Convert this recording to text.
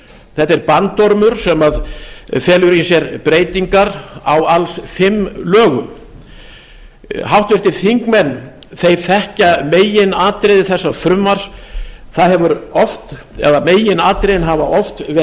þetta er bandormur sem felur í sér breytingar á alls fimm lögum háttvirtir þingmenn þekkja meginatriði þessa frumvarps meginatriðin hafa oft verið